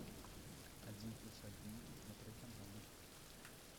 один плюс один смотреть онлайн